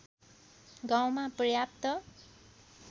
गाउँमा पर्याप्त